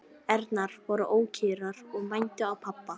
Ærnar voru ókyrrar og mændu á pabba.